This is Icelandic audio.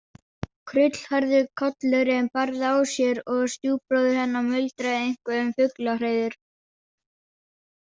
Krullhærður kollurinn bærði á sér og stjúpbróðir hennar muldraði eitthvað um fuglahreiður.